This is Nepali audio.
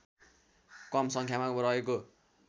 कम सङ्ख्यामा रहेको